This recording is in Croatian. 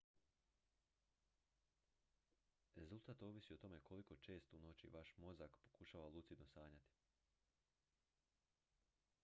rezultat ovisi o tome koliko često u noći vaš mozak pokušava lucidno sanjati